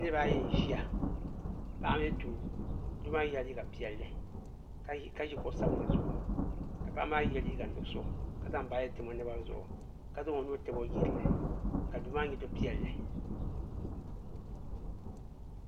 Niriba ayi n ʒia paɣa ni doo doo maa yela liiga piɛlli ka ʒi kuɣu sabinli zuɣu ka paɣa maa ye liiga nuɣuso ka zaŋ baaji tam o naba zuɣu ka zaŋ o nuu tabi o jirili ka duu maa nyɛ du'piɛlli.